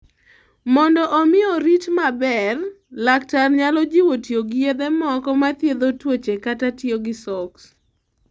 Mondo omi orit maber, laktar nyalo jiwo tiyo gi yedhe moko ma thiedho tuoche kata tiyo gi soaks.